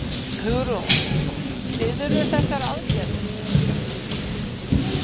Hugrún: Styðurðu þessar aðgerðir?